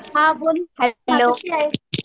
हां बोल कशी आहेस?